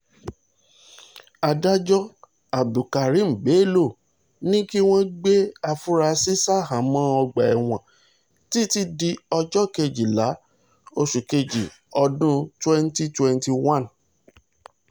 adájọ́ abdulkareem bello ní kí wọ́n gbé àfúrásì ṣahámọ́ ọgbà ẹ̀wọ̀n títí di ọjọ́ kejìlá oṣù kejì ọdún twenty twenty one